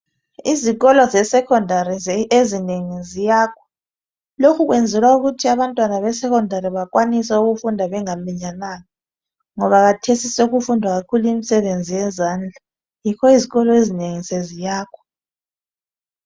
Izikolo zeSekhondari ezinengi ziyakhwa. Lokhu kwenzelwa ukuthi abantwana beSekhondari bakwanise ukufunda bengaminyananga ngoba khathesi sokufundwa kakhulu imisebenzi yezandla yikho izikolo ezinengi seziyakhwa.